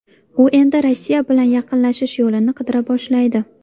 U endi Rossiya bilan yaqinlashish yo‘lini qidira boshlaydi.